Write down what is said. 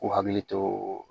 K'u hakili to